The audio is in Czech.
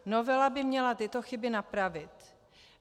Novela by měla tyto chyby napravit.